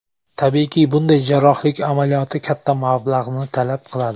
Tabiiyki, bunday jarrohlik amaliyoti katta mablag‘ni talab qiladi.